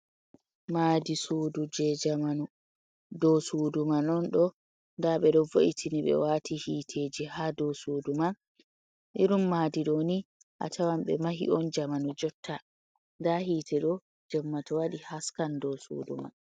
Maadi suudu jey jamanu, ɗo'o suudu man non ɗo'o ndaa ɓe do vo’itini ɓe waati hiiteeji haa dow suudu man irin maadi ɗo'o ni a tawan ɓe mahi on jamanu jotta nda hiite ɗo jammata waɗi haskan ɗo suudu man.